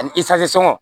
Ani sɔngɔ